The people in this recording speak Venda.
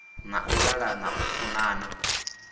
na u ṱalana u funana